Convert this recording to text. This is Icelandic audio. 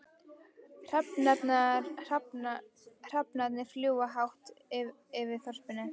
Hrafnarnir fljúga hátt yfir þorpinu.